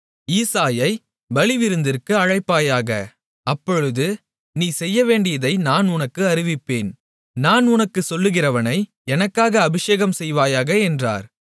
ஈசாயைப் பலிவிருந்திற்கு அழைப்பாயாக அப்பொழுது நீ செய்யவேண்டியதை நான் உனக்கு அறிவிப்பேன் நான் உனக்குச் சொல்கிறவனை எனக்காக அபிஷேகம்செய்வாயாக என்றார்